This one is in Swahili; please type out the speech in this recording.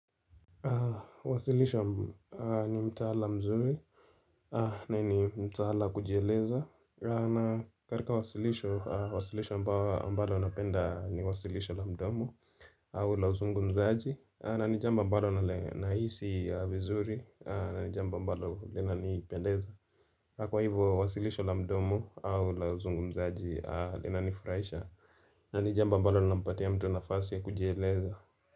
Wasilisho ni mtaala mzuri na ni mtaala kujieleza na katika wasilisho, wasilisho ambao mbalo napenda ni wasilisho la mdomo au la uzungumzaji na ni jambo mbalo na nahisi vizuri na ni jambo mbalo lina nipendeza Kwa hivo wasilisho la mdomo au la uzungumzaji lina nifurahisha na ni jambo mbalo linampatia mtu nafasi ya kujieleza.